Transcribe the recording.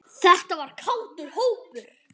Þetta var kátur hópur.